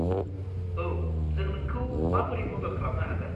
औ, जों नोंखौ माबोरै मदद खालामनो हागोन?